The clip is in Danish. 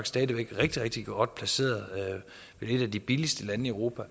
stadig væk rigtig rigtig godt placeret vi er et af de billigste lande i europa